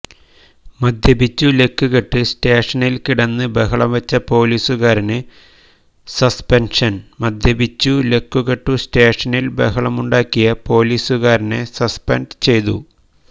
മദ്യപിച്ചു ലെക്കുകെട്ട് സ്റ്റേഷനില് കിടന്ന് ബഹളംവെച്ച പൊലീസുകാരന് സസ്പെന്ഷന് മദ്യപിച്ചു ലക്കുകെട്ടു സ്റ്റേഷനില് ബഹളമുണ്ടാക്കിയ പൊലീസുകാരനെ സസ്പെന്റ് ചെയ്തു